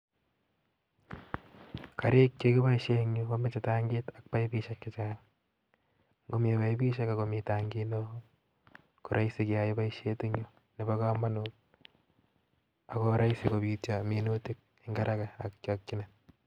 Karik chekiboisien en you komoche tangit ak paipishek chechang', komi paipishek ak komi tangit neo koraisi keyai boishet en you nebo komonut akoraisi kobityo minutik en haraka ak chakyinet